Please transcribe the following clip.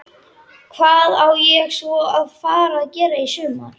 Hvað á svo að fara að gera í sumar?